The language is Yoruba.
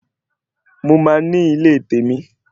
Mo máa ní ilé tèmi